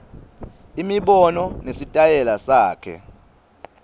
imibono nesitayela sakhe